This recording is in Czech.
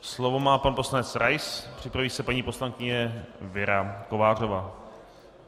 Slovo má pan poslanec Rais, připraví se paní poslankyně Věra Kovářová.